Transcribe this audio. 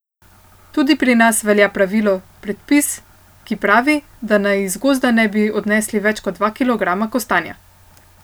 Tudi pri nas velja pravilo, predpis, ki pravi, da naj iz gozda ne bi odnesli več kot dva kilograma kostanja.